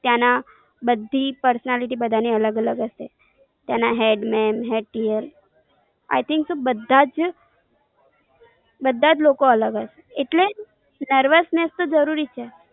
ત્યાંના બધી personality બધાની અલગ અલગ હશે. ત્યાંના headman, head clearI think બધા જ બધા જ કોલો અલગ હશે. એટલે nervousness તો જરૂરી છે.